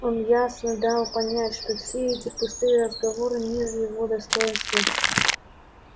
он ясно дал понять что все эти пустые разговоры ниже его достоинства